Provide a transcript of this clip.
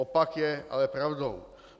Opak je ale pravdou.